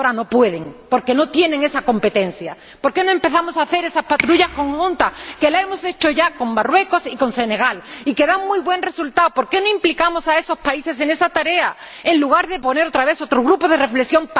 Porque ahora no pueden, porque no tienen esa competencia. ¿Por qué no empezamos a organizar esas patrullas conjuntas? Las hemos organizado ya con Marruecos y con Senegal, y dan muy buenos resultados. ¿Por qué no implicamos a esos países en esa tarea, en lugar de crear otra vez otro grupo de reflexión?